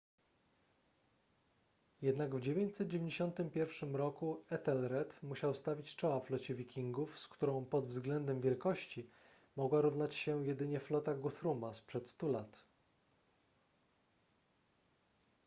jednak w 991 roku ethelred musiał stawić czoła flocie wikingów z którą pod względem wielkości mogła równać się jedynie flota guthruma sprzed stu lat